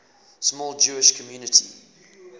small jewish community